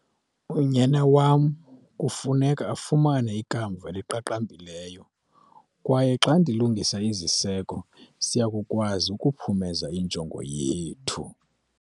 Unyana wamkufuneka afumane ikamva eliqaqambileyo kwaye xa ndilungisa iziseko siya kukwazi ukuphumeza injongo yethu.